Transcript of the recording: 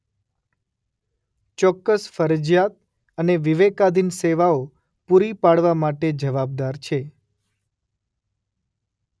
ચોક્કસ ફરજિયાત અને વિવેકાધીન સેવાઓ પૂરી પાડવા માટે જવાબદાર છે.